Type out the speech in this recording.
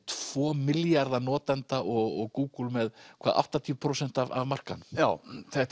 tvo milljarða notenda og Google með áttatíu prósent af markaðnum já þetta